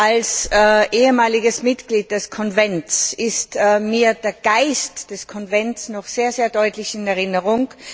Als ehemaliges Mitglied des Konvents ist mir der Geist des Konvents noch sehr deutlich in Erinnerung.